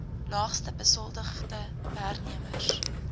laagste besoldigde werknemers